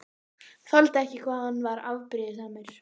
Þoldi ekki hvað hann var afbrýðisamur.